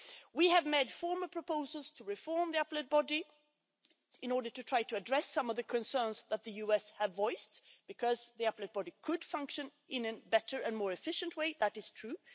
We have previously made proposals to reform the Appellate Body in order to try to address some of the concerns that the US had voiced, because the Appellate Body could function in a better and more efficient way, that is true.